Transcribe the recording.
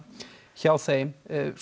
hjá þeim